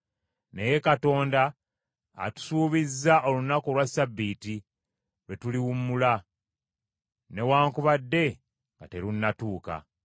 Naye Katonda atusuubizza olunaku olwa Ssabbiiti lwe tuliwummula, newaakubadde nga terunnatuuka.